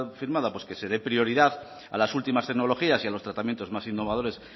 firmada pues que se dé prioridad a las últimas tecnologías y a los tratamientos más innovadores